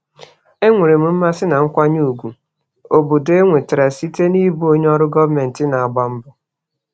Enwere m mmasị na nkwanye ùgwù obodo enwetara site n'ịbụ onye ọrụ gọọmentị na-agba mbọ.